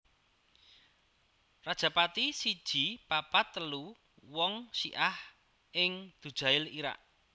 Rajapati siji papat telu wong Syi ah ing Dujail Irak